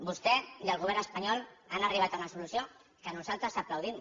vostè i el govern espanyol han arribat a una solució que nosaltres aplaudim